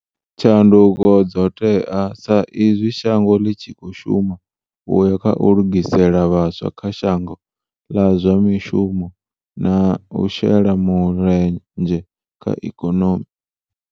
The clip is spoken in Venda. Tshanduko dzo tea sa izwi shango ḽi tshi khou shuma u ya kha u lugisela vhaswa kha shango ḽa zwa mishumo na u shela mule nzhe kha ikonomi.